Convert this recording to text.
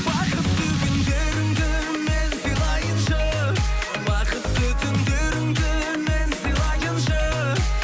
бақытты күндеріңді мен сыйлайыншы бақытты түндеріңді мен сыйлайыншы